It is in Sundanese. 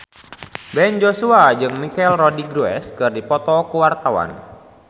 Ben Joshua jeung Michelle Rodriguez keur dipoto ku wartawan